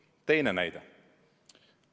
Teine näide.